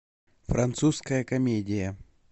французская комедия